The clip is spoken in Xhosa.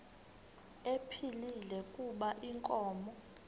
ephilile kuba inkomo